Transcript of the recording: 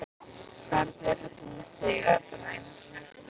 Hvernig er þetta með þig, Edda mín?